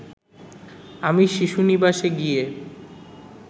আমি শিশু নিবাসে গিয়ে